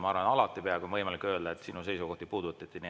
Ma arvan, et peaaegu alati on võimalik öelda, et minu seisukohti puudutati.